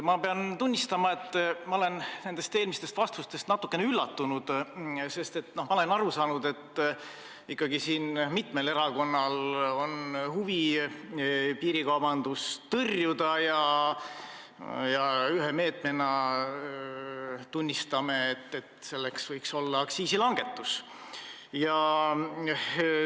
Ma pean tunnistama, et ma olen eelmistest vastustest natukene üllatunud, sest ma olen aru saanud, et ikkagi mitmel erakonnal on huvi piirikaubandust tõrjuda ja üheks meetmeks võiks olla aktsiisilangetus.